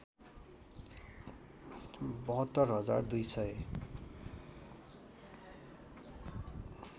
७२ हजार २ सय